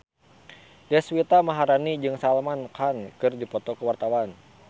Deswita Maharani jeung Salman Khan keur dipoto ku wartawan